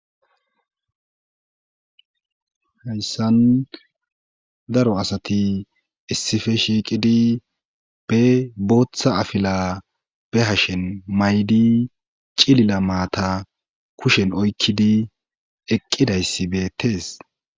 hayssan daro asati issife shiiqidi be booththa afila be hashen maydi cilila maata kushen oykkidi eqqidayssi beettes